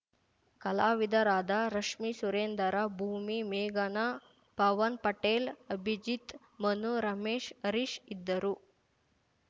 ಕಲಾವಿದರಾದ ರಶ್ಮಿ ಸುರೆಂದರ್‌ ಭೂಮಿ ಮೇಘನಾ ಪವನ್‌ಪಟೇಲ್‌ ಅಭಿಜಿತ್‌ ಮನು ರಮೇಶ್‌ ಹರೀಶ್‌ ಇದ್ದರು